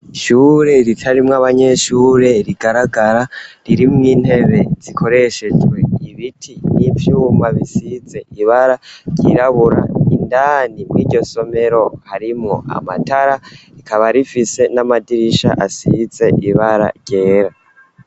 Ishure ritarimwo abanyeshure rigaragara ririmwo intebe zikoreshejwe ibiti n'ivyumba bisize ibara ryirabura indani mw'iryo somero harimwo amatara rikaba rifise n'amadirisha asize ibara ryera.